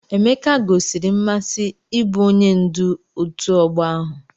Emeke gosiri mmasị ịbụ onye ndu ọtu ogbo ahu.